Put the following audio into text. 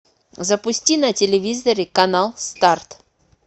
запусти на телевизоре канал старт